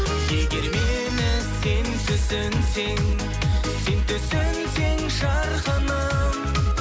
егер мені сен түсінсең сен түсінсең жарқыным